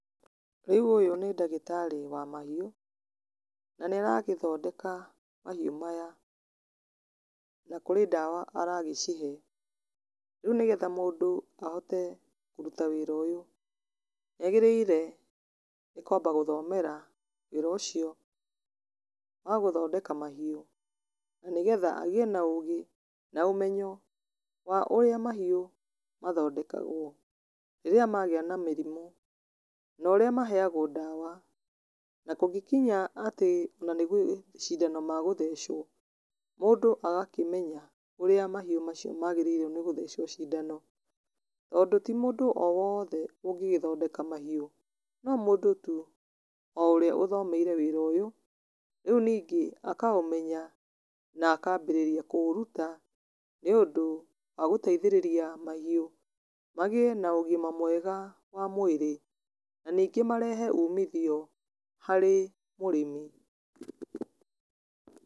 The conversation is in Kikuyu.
Rĩu ũyũ nĩ ndagitarĩ wa mahiũ, na nĩ aragĩthondeka mahiũ maya na kũrĩ ndawa aragĩcihe, rĩu nĩgetha mũndũ ahote kũruta wĩra ũyũ nĩ agĩrĩire nĩ kwamba gũthomera wĩra ũcio wa gũthondeka mahiũ, na nĩ getha agĩe na ũgĩ na ũmenyo wa ũrĩa mahiũ mathondekagwo rĩrĩa magĩa na mĩrimũ na ũrĩa maheagwo ndawa. Na kũngĩkĩnya atĩ ona nĩ macindano ma gũthecwo, mũndũ agakĩmenya ũrĩa mahiũ macio magĩrĩirwo nĩ gũthecwo cindano, tondũ ti mũndũ o wothe ũngĩgithondeka mahiũ, no mũndũ tu o ũrĩa ũthomeire wĩra ũyũ. Rĩu ningĩ akaũmenya na akambĩrĩria kũũruta, nĩ ũndũ wa gũteithĩrĩria mahiũ magĩe na ũgima mwega wa mwĩrĩ na ningĩ marehe umithio harĩ mũrĩmi.